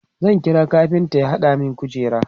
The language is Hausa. zan kira kafinta ya hada min kujera